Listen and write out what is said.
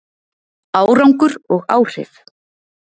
Árangur og áhrif